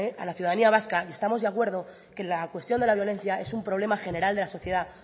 a la ciudadanía vasca y estamos de acuerdo que la cuestión de la violencia es un problema general de la sociedad